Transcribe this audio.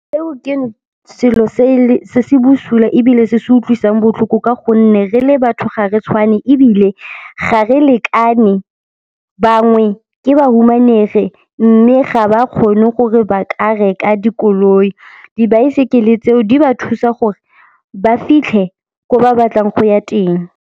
Eo ke selo se se busula ebile se se utlwisang botlhoko ka gonne re le batho gare tshwane ebile ga re lekane. Bangwe ke ba humanegi mme ga ba kgone gore ba ka reka dikoloi. Dibaesekele tseo di ba thusa gore ba fitlhe ko ba batlang go ya teng.